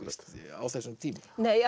á þessum tíma